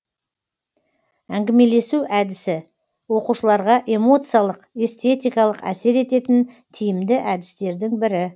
әңгімелесу әдісі оқушыларға эмоциялық эстетикалық әсер ететін тиімді әдістердің бірі